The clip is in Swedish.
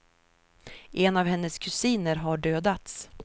En av hennes kusiner har dödats.